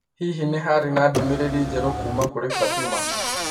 Hihi nĩ harĩ ndũmĩrĩri njerũ kuuma kũrĩ Fatima?